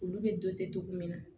Olu bɛ togo min na